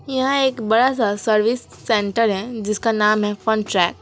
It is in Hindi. यहां एक बड़ा सा सर्विस सेंटर है जिसका नाम है फन ट्रैक ।